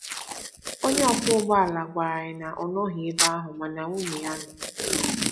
Onye ọkwọ ụgbọ ala gwara anyị na ọ nọghị ebe ahụ mana nwunye ya nọ.